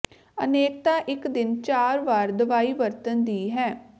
ਅਨੇਕਤਾ ਇੱਕ ਦਿਨ ਚਾਰ ਵਾਰ ਦਵਾਈ ਵਰਤਣ ਦੀ ਹੈ